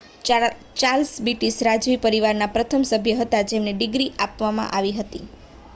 Charles British રાજવી પરિવારના પ્રથમ સભ્ય હતા જેમને ડિગ્રી આપવામાં આવી હતી